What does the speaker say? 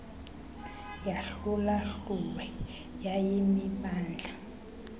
yahlula hlulwe yayimimandla